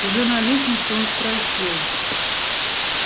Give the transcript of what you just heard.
уже на лестнице он спросил